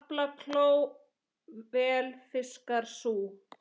Aflakló vel fiskar sú.